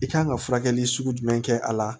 I kan ka furakɛli sugu jumɛn kɛ a la